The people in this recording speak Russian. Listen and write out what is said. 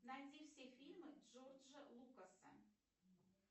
найди все фильмы джорджа лукаса